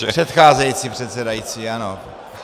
Pardon, předcházející předsedající, ano.